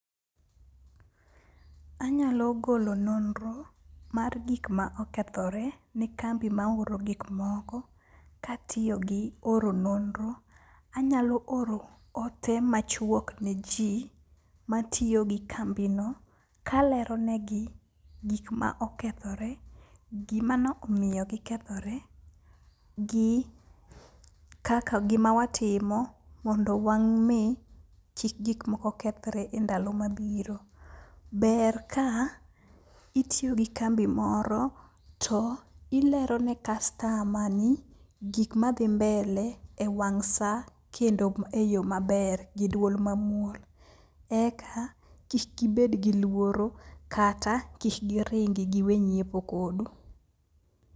Anyalo golo nonro mar gik ma okethore ne kambi ma oro gikmoko katiyo gi oro nonro. Anyalo oro ote machuok ne ji matiyo gi kambino, kalero negi gik ma okethore. Gima no omiyo gikethore, gi kaka gima watimo mondo wami kik gik moko kethre e ndalo ma biro. Ber ka itiyo gi kambi moro to ilero ne kastama ni gikma dhi mbele e wang' sa kendo e yo maber gi duol mamuol. Eka kik gibed gi luoro kata kik giringi giwe nyiepo kodu.